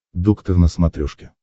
доктор на смотрешке